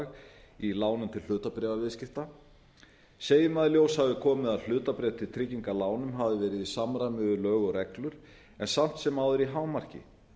veðandlag í lánum til hlutabréfaviðskipta segjum að í ljós hafi komið að hlutabréf til trygginga lánum hafi verið í samræmi við lög og reglur en samt sem áður í hámarki